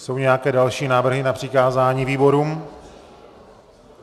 Jsou nějaké další návrhy na přikázání výborům?